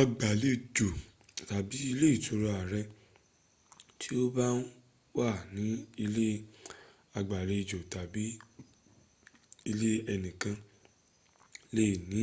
agbàlejò tàbí ilé ìtura rẹ tí o bá ń wà ní ilé ìgbàlejò tàbí ilé ẹnìkan lè ní